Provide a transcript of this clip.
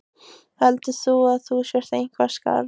Heldur þú að þú sért eitthvað skárri?